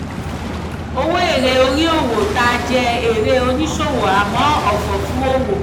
owó èrè orí owó ta jẹ́ èrè oníṣòwò àmọ́ ọ̀fọ̀ fún òwò.